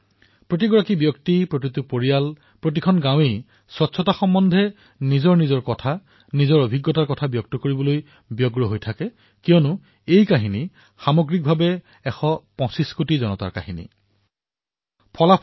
প্ৰতিজন ব্যক্তিকেই প্ৰতিটো পৰিয়ালকেই প্ৰতিখন গাঁৱকেই স্বচ্ছতা সন্দৰ্ভত নিজৰ সুখদ অভিজ্ঞতা বৰ্ণন কৰিবলৈ মন যায় কিয়নো স্বচ্ছতাৰ এই প্ৰয়াস এশ পঁচিছ কোটি ভাৰতীয় প্ৰয়াস